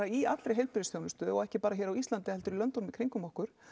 í allri heilbrigðisþjónustu og ekki bara hér á Íslandi heldur í löndunum í kringum okkur